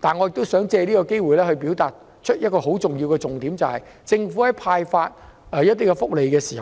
但是，我亦想藉此機會表達一個很重要的重點，就是政府在派發福利時，